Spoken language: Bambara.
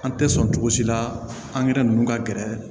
An tɛ sɔn cogo si la angɛrɛ ninnu ka gɛrɛ